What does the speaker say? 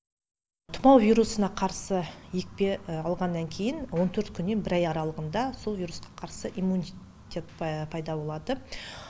тымау вирусына қарсы екпе алғаннан кейін он төрт күннен бір ай аралығында сол вирусқа қарсы иммунитет пайда болады